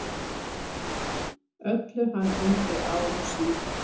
Öllu hann undi ár og síð.